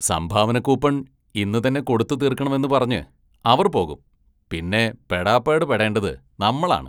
സംഭാവനക്കൂപ്പണ്‍ ഇന്നുതന്നെ കൊടുത്തു തീര്‍ക്കണമെന്ന് പറഞ്ഞ് അവര്‍ പോകും പിന്നെ പെടാപാട് പെടേണ്ടത് നമ്മളാണ്.